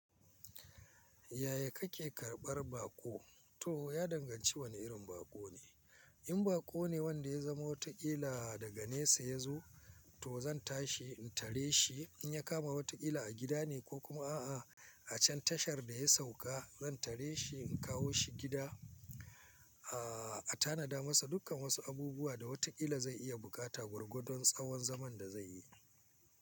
Yaya kake karɓar baƙo? To ya danganci wane irin baƙo ne, in baƙo ne wanda ya zama watakila daga nesa ya zo to zan tashi in tare shi in ya kama watakila a gida ne ko kuma a'a a can tashar da ya sauka zan tare shi in kawo shi gida, a tanada masa dukkan wasu abubuwa da watakila zai iya buƙata gwargwadon tsawon zaman da zai yi.